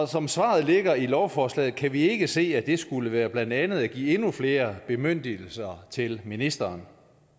som svaret ligger i lovforslaget kan vi ikke se at det skulle være blandt andet at give endnu flere bemyndigelser til ministeren